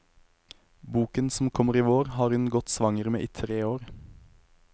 Boken, som kommer i vår, har hun gått svanger med i tre år.